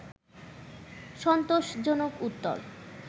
সন্তোষজনক উত্তর